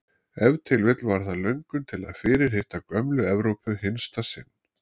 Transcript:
Ef til vill var það löngun til að fyrirhitta gömlu Evrópu hinsta sinni.